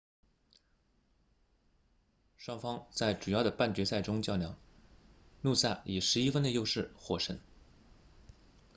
双方在主要的半决赛中较量努萨以11分的优势获胜